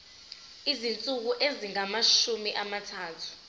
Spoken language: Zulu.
izinsuku ezingamashumi amathathu